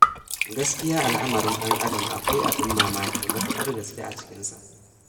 Gaskiya, al'amarin ɗan'adam akwai abin mamaki matuƙar gaske a cikinsa.